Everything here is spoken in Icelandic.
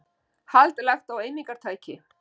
Hald lagt á eimingartæki